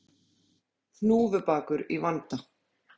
Hnúfubakur í vanda